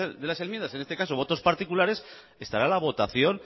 de las enmiendas en este caso votos particulares estará la votación